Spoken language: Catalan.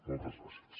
moltes gràcies